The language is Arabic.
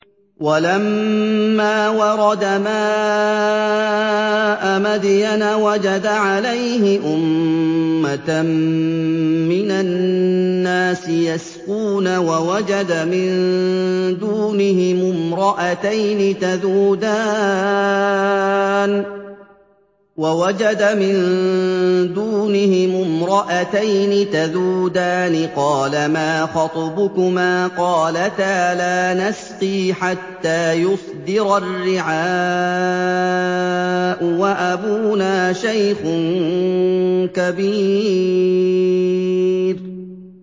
وَلَمَّا وَرَدَ مَاءَ مَدْيَنَ وَجَدَ عَلَيْهِ أُمَّةً مِّنَ النَّاسِ يَسْقُونَ وَوَجَدَ مِن دُونِهِمُ امْرَأَتَيْنِ تَذُودَانِ ۖ قَالَ مَا خَطْبُكُمَا ۖ قَالَتَا لَا نَسْقِي حَتَّىٰ يُصْدِرَ الرِّعَاءُ ۖ وَأَبُونَا شَيْخٌ كَبِيرٌ